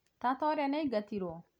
tata ũrĩa nĩaingatirwo?